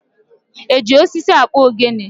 E ji osisi akpụ ogene?